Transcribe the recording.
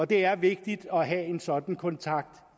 det er vigtigt at have en sådan kontakt